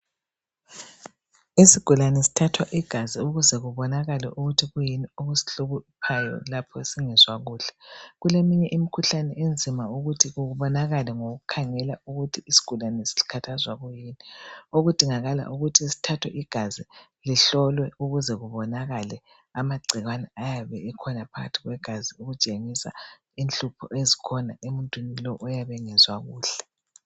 Isigulane sithatha igazi ukuthi kuyini okuyihluphayo lapho singezwa kuhle kuleminye imkhuhlane enzima ukuthi ibonakale ngokukhangela ukuthi isigulane sikhathazwa yikuyini okudingakala ukuthi sithathwe igazi lihlolwe ukuze kubonakale amagcikwane ayabe ekhona phakathi kwe gazi okutshengisa inhlupho ezikhona emuntwini lo oyabe engezwa kuhle